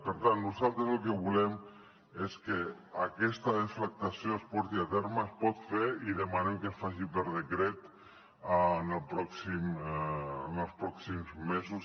per tant nosaltres el que volem és que aquesta deflactació es porti a terme es pot fer i demanem que es faci per decret en els pròxims mesos